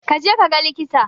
Ka je kaga likita.